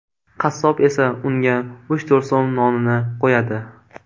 Qassob esa unga uch-to‘rt so‘m nonini qo‘yadi.